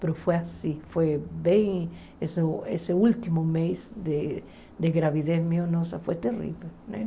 Mas foi assim, foi bem... Esse esse último mês de de gravidez meu, nossa, foi terrível.